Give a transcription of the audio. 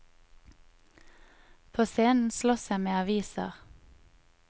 På scenen slåss jeg med aviser.